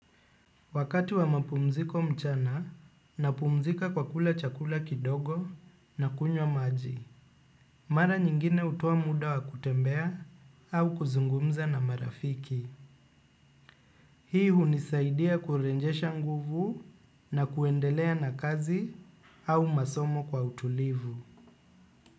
Wakati wa mapumziko mchana napumzika kwa kula chakula kidogo na kunywa maji. Mara nyingine hutoa muda wa kutembea au kuzungumza na marafiki. Hii hunisaidia kurejesha nguvu na kuendelea na kazi au masomo kwa utulivu.